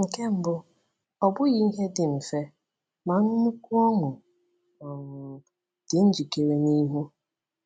Nke mbụ, ọ bụghị ihe dị mfe, ma nnukwu ọṅụ um dị njikere n’ihu.